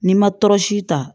N'i ma tɔɔrɔsi ta